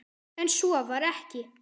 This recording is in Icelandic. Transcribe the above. Enn svo var ekki.